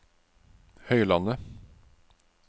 Høylandet